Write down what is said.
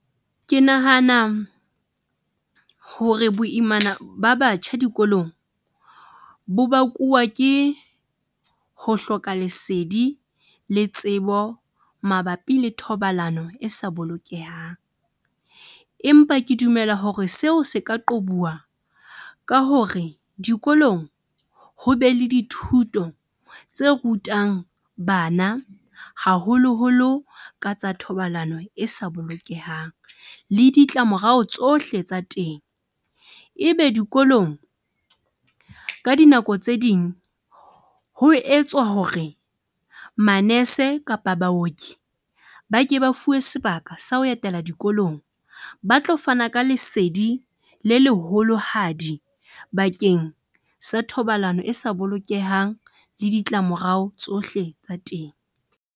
Ke nahana hore boimana ba batjha dikolong, bo bakuwa ke ho hloka lesedi le tsebo mabapi le thobalano e sa bolokehang, empa ke dumela hore seo se ka qobuwa ka hore dikolong, ho be le dithuto tse rutang bana, haholoholo ka tsa thobalano e sa bolokehang le ditlamorao tsohle tsa teng. Ebe dikolong, ka dinako tse ding ho etswa hore manese kapa baoki ba ke ba fuwe sebaka sa ho etela dikolong ba tlo fana ka lesedi le leholohadi bakeng sa thobalano e sa bolokehang le ditlamorao tsohle tsa teng.